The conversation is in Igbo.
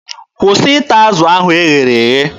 Kwụsị ịta azụ ahụ e ghere eghe!